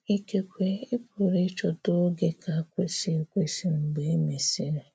Ikekwè ị̀ pụrụ ịchọtà ogè ka kwesị̀ ekwesị mgbe e mesịrị.